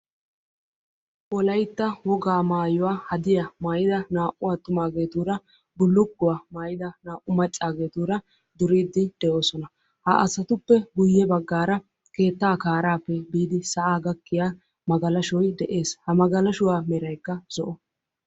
Wolaytta wogaa maayuwa maayidda atumaagetura bullukuwa maayidda macagettura duriddi de'osonna.